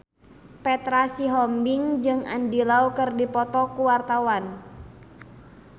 Petra Sihombing jeung Andy Lau keur dipoto ku wartawan